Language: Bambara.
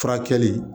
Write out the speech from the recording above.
Furakɛli